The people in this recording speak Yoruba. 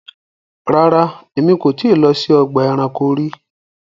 Ràrá, ẹ̀mi kò ti lọ sí ọgba ẹ̀ránkò rí